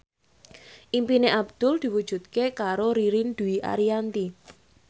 impine Abdul diwujudke karo Ririn Dwi Ariyanti